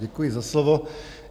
Děkuji za slovo.